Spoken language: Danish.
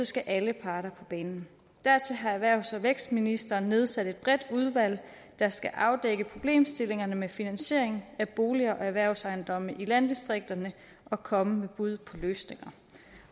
skal alle parter på banen dertil har erhvervs og vækstministeren nedsat et bredt udvalg der skal afdække problemstillingerne med finansiering af bolig og erhvervsejendomme i landdistrikterne og komme med bud på løsninger